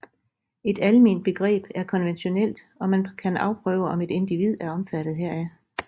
Et almenbegreb er konventionelt og man kan afprøve om et individ er omfattet heraf